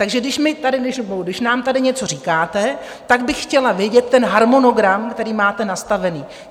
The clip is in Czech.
Takže když nám tady něco říkáte, tak bych chtěla vědět ten harmonogram, který máte nastavený.